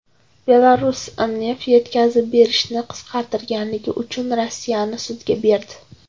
Belarus neft yetkazib berishni qisqartirganligi uchun Rossiyani sudga berdi.